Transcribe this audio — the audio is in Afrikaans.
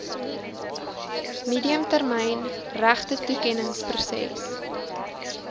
medium termyn regtetoekenningsproses